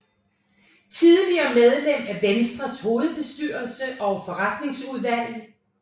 Tidligere medlem af Venstres hovedbestyrelse og forretningsudvalg